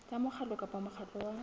tsa mokgatlo kapa mokgatlo wa